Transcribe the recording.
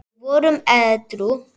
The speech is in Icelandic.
Við vorum edrú.